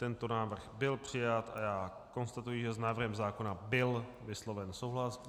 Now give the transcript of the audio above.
Tento návrh byl přijat a já konstatuji, že s návrhem zákona byl vysloven souhlas.